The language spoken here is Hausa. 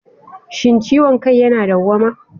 Shin ciwon kai yana dawwama?